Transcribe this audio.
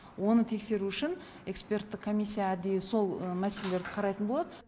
оны тексеру үшін эксперттік комиссия әдейі сол мәселелерді қарайтын болады